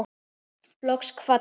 Loks kvaddi